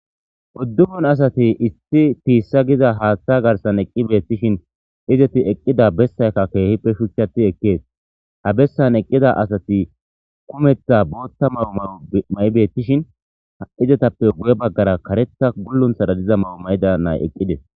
uddupun asati issi tiissa giza haaththa garsan eqqi beettishin izeti eqqida bessaykka keehippe shuchati ekkees ha bessan eqqida asati kumetha bootta mawo mao may7 beettishin ha7izetappe guye baggara karetha gullunthara diza mawo mayda nay eqqides